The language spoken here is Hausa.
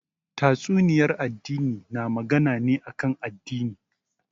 Tatsuniyar addini na magana ne kan addini